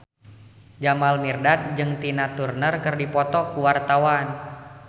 Jamal Mirdad jeung Tina Turner keur dipoto ku wartawan